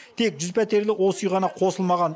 тек жүз пәтерлі осы үй ғана қосылмаған